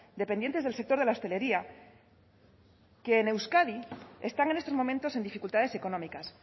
dependientes del sector de la hostelería que en euskadi están en estos momentos en dificultades económicas